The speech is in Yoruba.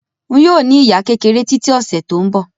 Ń yìí ó ní ìyá kékeré tiiti ọ̀sẹ̀ tòun bọ̀